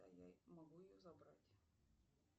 могу ее забрать